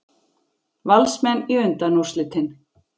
Valsmenn í undanúrslitin